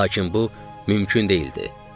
Lakin bu mümkün deyildi.